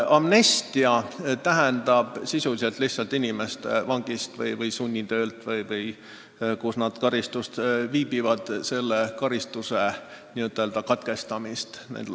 Amnestia tähendab sisuliselt inimeste vangistuse või sunnitöö, või mis karistust nad ka ei kanna, lõpetamist.